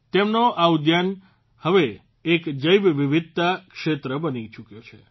તેમનો આ ઉદ્યાન હવે એક જૈવ વિવિધતા ક્ષેત્ર બની ચૂક્યો છે